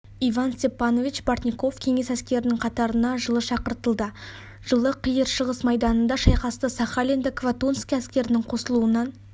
иван степанович бортников кеңес әскерінің қатарына жылы шақыртылды жылы қиыршығыс майданында шайқасты сахалинді квантунский әскерінің қосылуынан